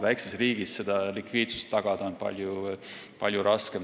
Väikses riigis on likviidsust tagada palju raskem.